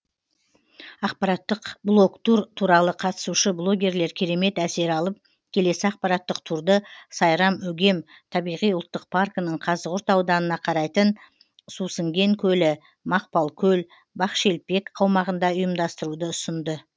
ақпараттық блогтур туралы қатысушы блогерлер керемет әсер алып келесі ақпараттық турды сайрам өгем табиғи ұлттық паркінің қазығұрт ауданына қарайтын сусіңген көлі мақпалкөл бақшелпек аумағында ұйымдастыруды ұсынды